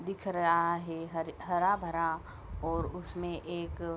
दिख रहा है हरे हरा-भरा और उसमे एक --